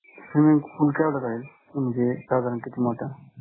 Swimming pool केवढं राहिलं? म्हणजे साधारण किती मोठं?